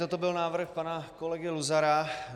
Toto byl návrh pana kolegy Luzara.